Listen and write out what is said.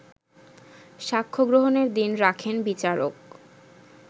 সাক্ষ্যগ্রহণের দিন রাখেন বিচারক